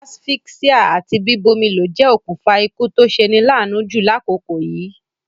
Asphyxia àti bíbómilo je okùnfa ikú to seni laanu ju lákòkò yìí